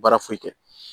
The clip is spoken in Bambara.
Baara foyi kɛ